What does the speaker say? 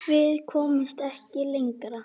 Við komumst ekki lengra.